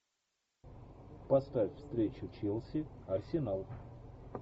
поставь встречу челси арсенал